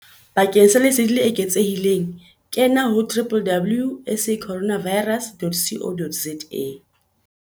Bakeng sa lesedi le eketsehileng kena ho www.sacorona virus.co.za